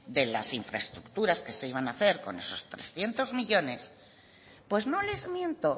de las infraestructuras que se iban a hacer con esos trescientos millónes pues no les miento